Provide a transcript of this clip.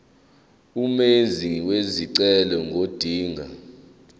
umenzi wesicelo ngodinga